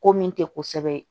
Ko min tɛ kosɛbɛ